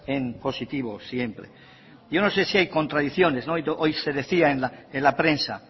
en positivo siempre yo no sé si hay contradicciones hoy se decía en la prensa